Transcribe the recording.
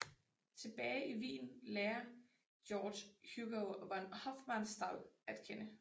Tilbage i Wien lærer George Hugo von Hofmannsthal at kende